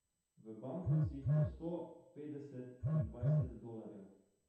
V bankovcih po sto, petdeset in dvajset dolarjev.